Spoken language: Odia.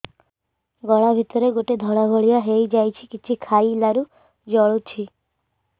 ଗଳା ଭିତରେ ଗୋଟେ ଧଳା ଭଳିଆ ହେଇ ଯାଇଛି କିଛି ଖାଇଲାରୁ ଜଳୁଛି